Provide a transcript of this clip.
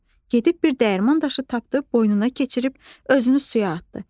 Gedib bir dəyirman daşı tapdı, boynuna keçirib özünü suya atdı.